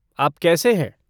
आप कैसे हैं?